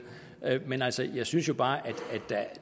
men altså jeg synes jo bare at